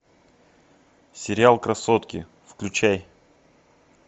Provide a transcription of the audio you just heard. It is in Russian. сериал красотки включай